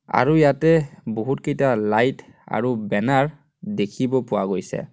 আৰু ইয়াতে বহুতকেইটা লাইট আৰু বেনাৰ দেখিব পোৱা গৈছে.